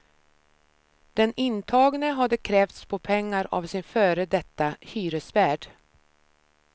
Den intagne hade krävts på pengar av sin före detta hyresvärd.